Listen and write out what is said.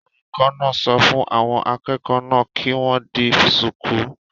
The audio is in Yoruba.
Olùkọ́ náà sọ fún àwọn akẹ́kọ̀ọ́ náà kí wọ́n di shùkú